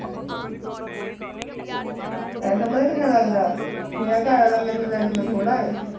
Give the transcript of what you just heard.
ਪੈਸਾ ਪਤਾ ਕਿੰਨਾ ਲੱਗਦਾ ਮੇਰਾ ਘਰ ਵਾਲਾ ਮੈਨੂੰ ਲੈ ਜਾਵੇ ਊੜਾ ਹੈ